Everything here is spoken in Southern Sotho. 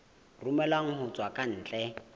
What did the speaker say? romellwang ho tswa ka ntle